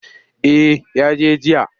Eh ya je jiya.